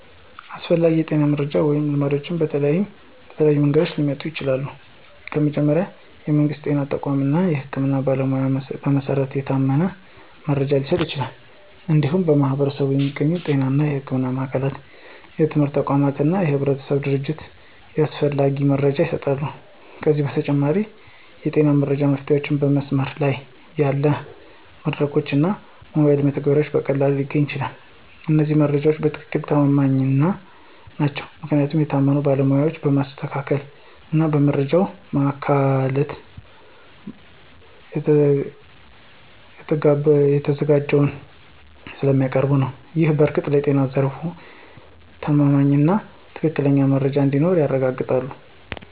አስፈላጊ የጤና መረጃዎች ወይም ልማዶች በተለያዩ መንገዶች ሊቀጥሉ ይችላሉ። ከመጀመሪያ፣ የመንግስት ጤና ተቋማት እና የህክምና ባለሞያዎች በመሰረት የታመነ መረጃ ሊሰጡ ይችላሉ። እንዲሁም በማኅበረሰብ የሚገኙ ጤና እና ሕክምና ማዕከላት፣ የትምህርት ተቋማት እና የህብረተሰብ ድርጅቶች ያስፈላጊ መረጃ ይሰጣሉ። ከዚህ በተጨማሪ፣ የጤና መረጃ መፍትሄዎችን በመስመር ላይ ያሉ መድረኮች እና ሞባይል መተግበሪያዎች በቀላሉ ሊገኙ ይችላሉ። እነዚህ መረጃዎች በትክክል ተማማኝ ናቸው ምክንያቱም የታመኑ ባለሞያዎች በማስተካከል እና በመረጃ ማዕከላት ተዘጋጅተው ስለሚያቀርቡ ነው። ይህ በእርግጥ ለጤና ዘርፍ የተማማኝና ትክክለኛ መረጃ እንዲኖር ያረጋግጣል።